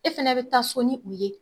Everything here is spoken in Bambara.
E fɛnɛ be taa so ni u ye